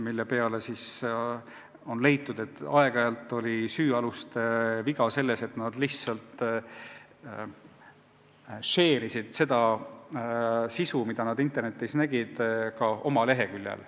Selle peale on leitud, et osaliselt oli süüaluste viga selles, et nad lihtsalt share'isid seda sisu, mida nad internetis nägid, ka oma leheküljel.